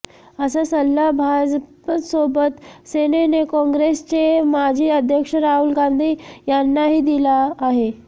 असा सल्ला भाजपसाेबत सेनेने काँग्रेसचे माजी अध्यक्ष राहुल गांधी यांनाही दिला आहे